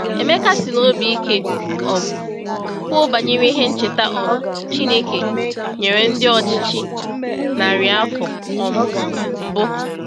Emeka sị n’obi ike um kwuo banyere ihe ncheta um Chineke nyere ndị ọchịchị narị afọ um mbụ.